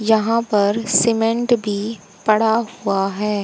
यहां पर सीमेंट भी पड़ा हुआ है।